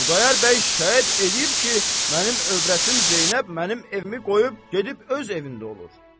Xudayar bəy şəhadət eləyib ki, mənim övrətim Zeynəb mənim evimi qoyub gedib öz evində olur.